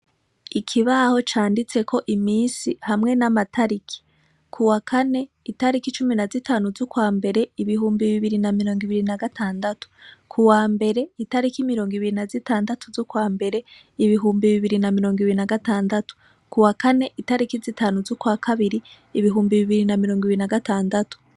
Ikibaho canditseko iminsi hamwe n'amatariki. Kuwa kane, itariko cumi na zitanu z'ukwa mbere, ibihumbi bibiri na murongo ibiri na gatandatu. Ku wa mbere itariko murongo ibiri na zitandatu z'ukwa mbere, ibihumbi bibiri na murongo ibiri na gatandatu. Ku wa kane, itariki zitanu z'ukwa kabiri, ibihumbi bibiri na murongo ibiri na gatandatu.